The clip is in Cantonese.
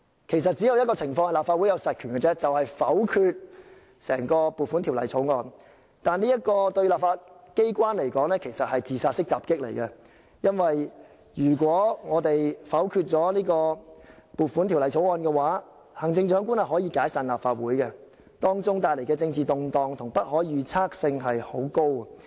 其實，只有一種情況立法會可以行使實權，便是否決撥款法案，但這對立法機關來說是"自殺式襲擊"，因為如果我們否決了撥款法案，行政長官可以解散立法會，由此帶來的政治動盪和不可預測性極高。